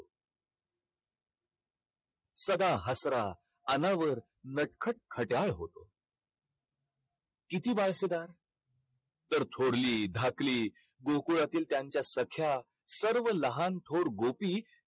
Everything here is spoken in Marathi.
सदा हसरा, अनावर, नटखट खट्याळ होतो. किती बाळशेदार? तर थोरली, धाकली, गोकुळातील त्यांच्या सख्या, सर्व लहान-थोर गोपी